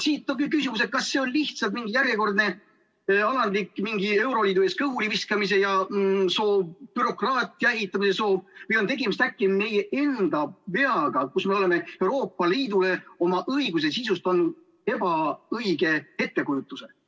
Siit on küsimus: kas see on lihtsalt mingi järjekordne alandlik euroliidu ees kõhuli viskamise soov, bürokraatia ehitamise soov või on tegemist äkki meie enda veaga, kus me oleme Euroopa Liidule oma õiguse sisust andnud ebaõige ettekujutuse?